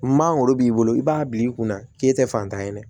Mangoro b'i bolo i b'a bil'i kunna k'e tɛ fantan ye dɛ